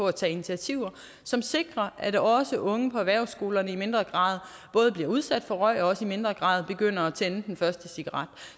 at tage initiativer som sikrer at også unge på erhvervsskolerne i mindre grad bliver udsat for røg og også i mindre grad begynder at tænde den første cigaret